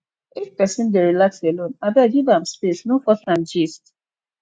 if pesin dey relax alone abeg give am space no force an gist